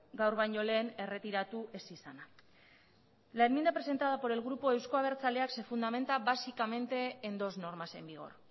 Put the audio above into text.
gaur baino lehen erretiratu ez izana la enmienda presentada por el grupo euzko abertzaleak se fundamenta básicamente en dos normas en vigor